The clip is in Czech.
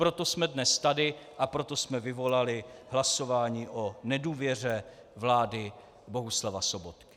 Proto jsme dnes tady a proto jsme vyvolali hlasování o nedůvěře vlády Bohuslava Sobotky.